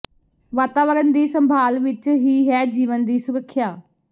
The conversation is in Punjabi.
ਵਾਤਾਵਰਨ ਦੀ ਸੰਭਾਲ ਵਿੱਚ ਹੀ ਹੈ ਜੀਵਨ ਦੀ ਸੁਰੱਖਿਆ